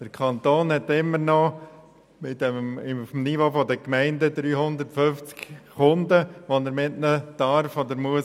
Der Kanton hat auf dem Niveau der Gemeinden noch immer 350 Kunden, mit denen er umgehen darf oder muss.